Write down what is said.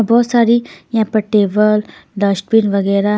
बहुत सारी यहां पर टेबल डस्ट बिन वगैरह--